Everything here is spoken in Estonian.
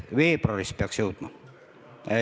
Veebruaris peaks jõudma.